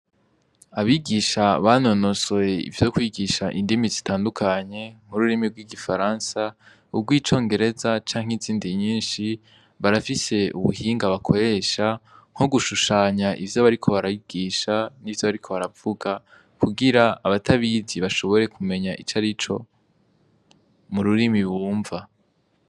Abigisha banonosore ivyo kwigisha indimi zitandukanye, nk'ururimi rw'igifaransa, urw'icongereza, canke izindi nyinshi, barafise ubuhinga bakoresha nko gushushanya ivyo bariko barigisha, n'ivyo bariko baravuga, kugira abatabizi bashobore kumenya icarico mu rurimi bumva.